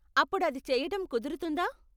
అప్పుడు అది చెయ్యటం కుదురుతుందా?